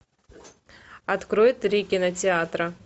открой три кинотеатра